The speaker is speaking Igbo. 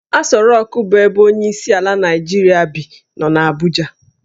Asọ Rokụ bụ ebe onyeisiala Naijiria bi nọ n'Abuja